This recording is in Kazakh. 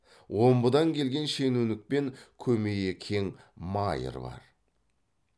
омбыдан келген шенеунік пен көмейі кең майыр бар